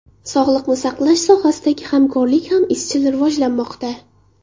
Sog‘liqni saqlash sohasidagi hamkorlik ham izchil rivojlanmoqda.